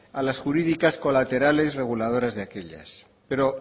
a las jurídicas colaterales reguladoras de aquellas pero